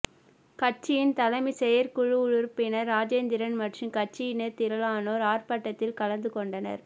கட்சியின் தலைமை செயற்குழு உறுப்பினர் ராஜேந்திரன் மற்றும் கட்சியினர் திரளானோர் ஆர்ப்பாட்டத்தில் கலந்துகொண்டனர்